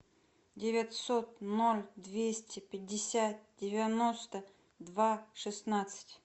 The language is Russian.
девятьсот ноль двести пятьдесят девяносто два шестнадцать